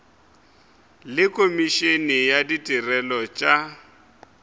le komišene ya ditirelo tša